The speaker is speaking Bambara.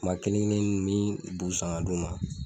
tuma kelen-kelennin n bɛ bu san ka d'u ma